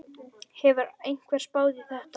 Hefur einhver spáð í þetta?